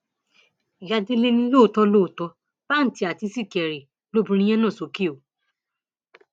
ìyá délé ni lóòótọ lóòótọ pàǹtí àǹtí sìkẹrì lobìnrin yẹn nà sókè o